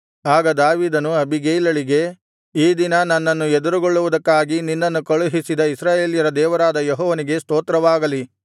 ಆಗ ದಾವೀದನು ಅಬೀಗೈಲಳಿಗೆ ಈ ದಿನ ನನ್ನನ್ನು ಎದುರುಗೊಳ್ಳುವುದಕ್ಕಾಗಿ ನಿನ್ನನ್ನು ಕಳುಹಿಸಿದ ಇಸ್ರಾಯೇಲ್ಯರ ದೇವರಾದ ಯೆಹೋವನಿಗೆ ಸ್ತೋತ್ರವಾಗಲಿ